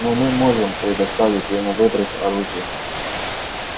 но мы можем предоставить ему выбрать оружие